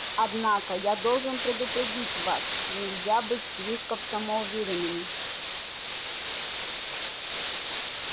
однако я должен предупредить вас нельзя быть слишком самоуверенными